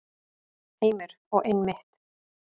Heimir: Og einmitt.